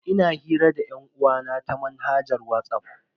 Ina hira da yan'uwa na ta manhajar Whatsapp.